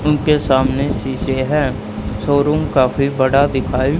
उनके सामने शीशे हैं शोरूम काफी बड़ा दिखाई--